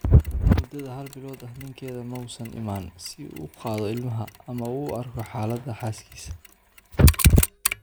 Muddada hal bilood ah, ninkeeda ma uusan imaan si uu u qaado ilmaha, ama u arko xaaladda xaaskiisa.